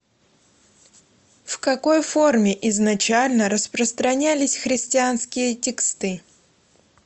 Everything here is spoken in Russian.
в какой форме изначально распространялись христианские тексты